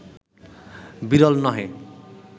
বিরল নহে